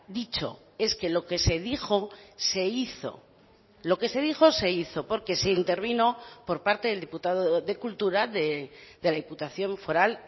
dicho es que lo que se dijo se hizo lo que se dijo se hizo porque se intervino por parte del diputado de cultura de la diputación foral